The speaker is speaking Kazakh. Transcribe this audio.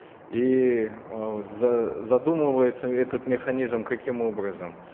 и э задумывается этот механизм каким образом